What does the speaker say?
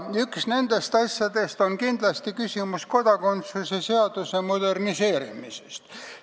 Üks nendest asjadest on kindlasti kodakondsuse seaduse moderniseerimise küsimus.